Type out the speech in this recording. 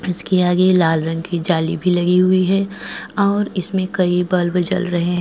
इसके आगे लाल रंग की जाली भी लगी हुई है और इसमें कई बल्ब जल रहे हैं।